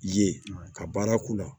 Ye ka baara k'u la